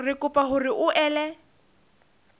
re kopa hore o ele